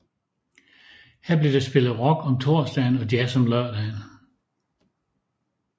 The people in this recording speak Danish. Her blev der spillet rock om torsdagen og jazz om lørdagen